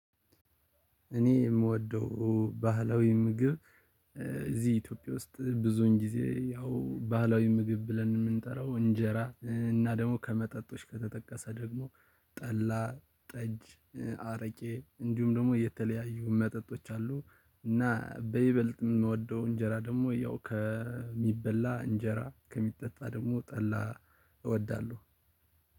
እኔ የምወደው ባህላዊ ምግብ። እዚህ ኢትዮጵያ ውስጥ ብዙን ጊዜ ያው ባህላዊ ምግብ ብለን የምንጠራው እንጀራ እና ደግሞ ከመጠጦች ከተጠቀሰ ደግሞ ጠላ ጠጅ አረቄ እንዲሁም ደግሞ የተለያዩ መጠጦች አሉ። እና በይበልጥ የምወደው እንጀራ ደግሞ ያው ከሚበላ እንጀራ ከሚጠጣ ደግሞ ጠላ እወዳለሁ።